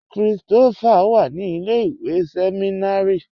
Kristofá wà ní ilẹ̀-ìwé sẹmìnárì